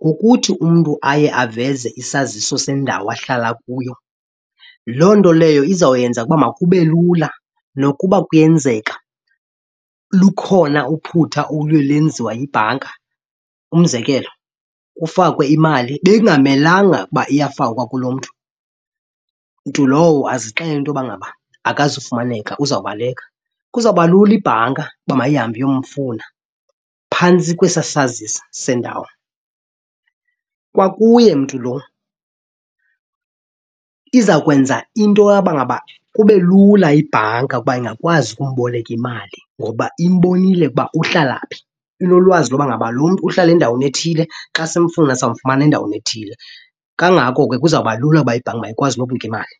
ngokuthi umntu aye aveze isaziso sendawo ahlala kuyo, loo nto leyo izawuyenza ukuba makube lula nokuba kuyenzeka lukhona uphutha oluye lenziwa yibhanka. Umzekelo kufakwe imali bekungamelanga ukuba iyafakwa kulo mntu, mntu lowo azixelele into yoba ngaba akazufumaneka uzawubeleka, kuzawuba lula ibhanka uba mayihambe iyomfuna phantsi kwesaa sazisi sendawo. Kwakuye mntu lo iza kwenza into yoba ngaba kube lula ibhanka ukuba ingakwazi ukumboleka imali ngoba imbonile ukuba uhlala phi. Inolwazi loba ngaba lo mntu uhlale endaweni ethile xa simfuna, samfumana endaweni ethile. Kangako ke kuzawuba lula uba ibhanki mayikwazi nokumnika imali.